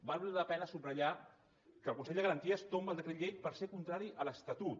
val la pena subratllar que el consell de garanties tomba el decret llei perquè és contrari a l’estatut